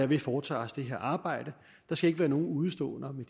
vi foretager os det her arbejde der skal ikke være nogen udeståender